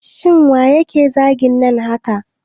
Shin waye yake zagin nan haka